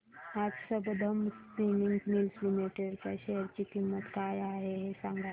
आज Sambandam spinning mills limited च्या share ची किंमत काय आहे हे सांगा